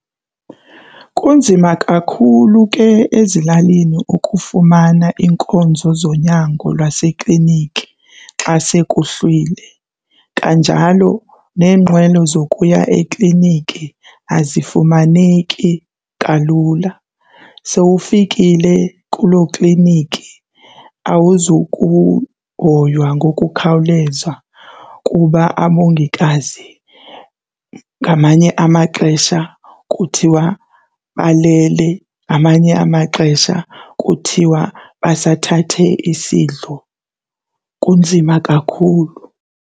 Kunzima kakhulu ke ezilalini ukufumana iinkonzo zonyango lwaseklinikhi xa sekuhlwile, kanjalo neenqwelo zokuya ekliniki azifumaneki kalula. Sowufikile kuloo kliniki awuzukuhoywa ngokukhawuleza kuba abongikazi ngamanye amaxesha kuthiwa balele, ngamanye amaxesha kuthiwa basathathe isidlo. Kunzima kakhulu.